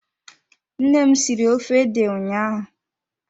Nne m siri ofe ede ụnyaahụ.